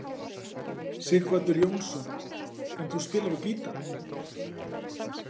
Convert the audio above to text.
Sighvatur Jónsson: En þú spilar á gítar?